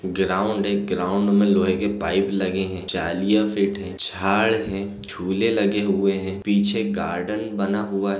Ground है ground में लोहे की पाइप लगे है जालियां फिट है झाड़ है झूले लगे हुए हैं पीछे गार्डन बना हुआ है।